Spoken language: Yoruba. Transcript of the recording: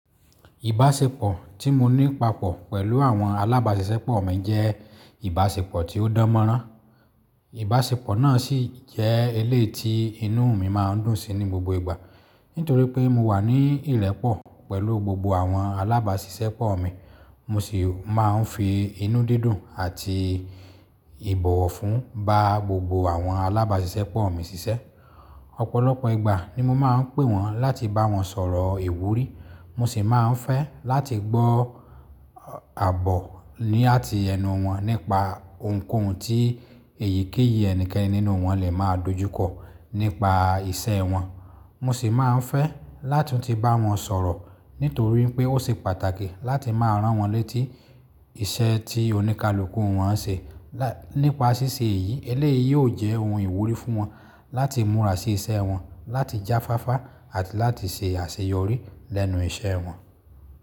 Ìbáṣepọ̀ tí mo ní papọ̀ pẹ̀lú àwọn alábáṣiṣẹ́pọ̀ mi jẹ́ ìbáṣepọ̀ tí ó dánmọ́rán. Ìbáṣepọ̀ náà sì jẹ́ eléyìí ti inú mi máa ń dùn sí ní gbogbo ìgbà. Nítorí pé mo wà ní ìrẹ́pọ̀ pẹ̀lú gbogbo àwọn alábáṣiṣẹ́pọ̀ mi, mo sì máa ń fi inú dídùn àti ìbọ̀wọ̀ fún ba gbogbo àwọn alábáṣiṣẹ́pọ̀ mi ṣiṣẹ́. Ọ̀pọ̀lọpọ̀ ìgbà ni mo máa ń pè wọ́n láti bá wọn sọ̀rọ̀ ìwúrí, mo sì máa ń fẹ́ láti gbọ́ àbọ̀ ní àti ẹnu wọn nípa ohunkóhun tí èyíkéyìí ẹnikẹ́ni nínú wọn lè máa dojúkọ nípa iṣẹ́ wọn. Mo sì máa ń fẹ́ lá tún ti bá wọn sọ̀rọ̀ nítorí pé ó ṣe pàtàkì láti máa rán wọ́n létí iṣẹ́ tí oníkálukú wọ́n ń ṣe. Láì, nípa ṣíṣe yìí, eléyìí yóò jẹ́ ohun ìwúrí fún wọn láti múra sí iṣẹ́ wọn, láti jáfáfá àti láti ṣe àṣeyọrí lẹ́nu iṣẹ́ wọn.